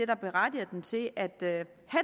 der berettiger dem til at have